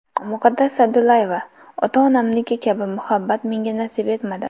Muqaddas Sa’dullayeva: Ota-onamniki kabi muhabbat menga nasib etmadi.